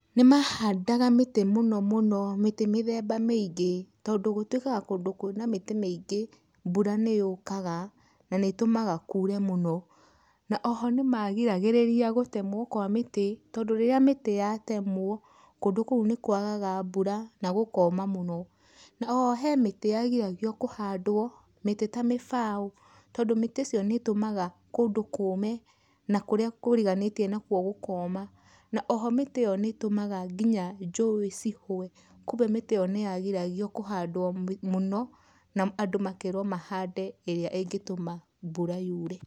Nĩmahandaga mĩtĩ mũno mũno, mĩtĩ mĩthemba mĩingĩ tondũ gũtuĩkaga kũndũ kwĩna mĩtĩ mĩingĩ mbura nĩyũkaga na nĩĩtũmaga kũre mũno. Na oho nĩmagiragĩrĩria gũtemwo kwa mĩtĩ tondũ rĩrĩa mĩtĩ yatemwo kũndũ kũu nĩkwagaga mbura na gũkoma mũno. Oho he mĩtĩ yagiragio kũhandwo mĩtĩ ta mĩbaũ tondũ mĩtĩ icio nĩĩtũmaga kũndũ kũme na kũrĩa kũriganĩtie nakuo gũkoma, na oho mĩtĩ ĩyo nĩ ĩtũmaga nginya njũĩ cihwe, kumbe mĩtĩ ĩyo nĩyagiragio kĩhandwo mũno na andũ makerwo mahande ĩrĩa ĩngĩtũma mbura yure.